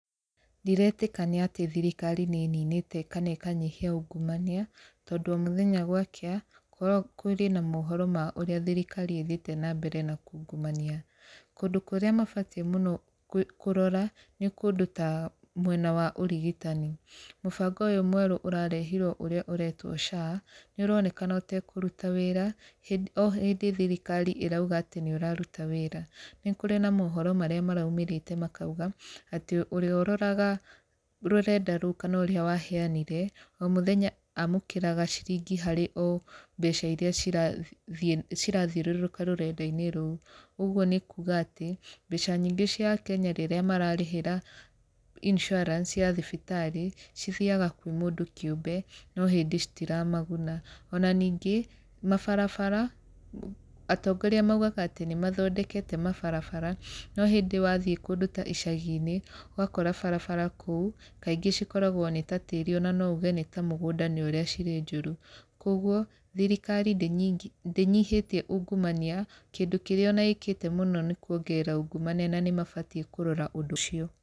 Ndiretĩkania atĩ thirikari nĩ ĩninĩte kana ĩkanyihia ungumania, tondũ o mũthenya gwakĩa kũrĩ na mohoro ma ũrĩa thirikari ĩthiĩte na mbere na kungumania. Kũndũ kũrĩa mabatiĩ mũno kũrora nĩ kũndũ ta mwena wa ũrigitani. Mũbango ũyũ mwerũ ũrarehirwo ũrĩa ũretwo SHA nĩ ũronekana ũtekũruta wĩra, o hĩndĩ thirikari ĩrauga atĩ nĩ ũraruta wĩra. Nĩ kũrĩ na mohoro marĩa maraumĩrĩte makauga, atĩ ũrĩa ũroraga rũrenda rũu kana ũrĩa waheanire, o mũthenya amũkĩraga ciringi harĩ o mbeca irĩa cirathi cirathiũrũrũka rũrenda-inĩ rũo. Ũguo nĩ kuuga atĩ mbeca nyingĩ cia Akenya rĩrĩa mararĩhĩra insurance ya thibitarĩ cithiaga kwĩ mũndũ kĩũmbe no hĩndĩ citiramaguna. Ona ningĩ, mabarabara, atongoria maugaga atĩ nĩ mathondekete mabarabara no hĩndĩ wathiĩ kũndũ ta icagi-inĩ, ũgakora barabara kũu kaingĩ cikoragwo nĩ ta tĩri ona no uge nĩ ta mũgũnda nĩ ũrĩa cirĩ njũru. Kũguo, thirikari ndĩnyihĩtie ũngumania, kĩndũ kĩrĩa ona ĩkĩte mũno nĩ kuongerera ungumania na nĩ mabatiĩ kũrora ũndũ ũcio.